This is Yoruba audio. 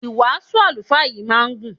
Ìwàásù àlùfáà yìí máa ń gùn.